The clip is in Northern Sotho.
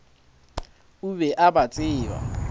o be a ba tseba